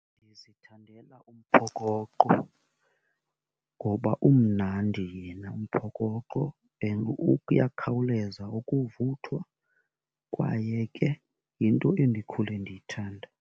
Ndizithandela umphokoqo ngoba umnandi yena umphokoqo and uyakhawuleza ukuvuthwa kwaye ke yinto endikhule ndiyithanda.